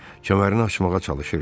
Kəmərini açmağa çalışırdı.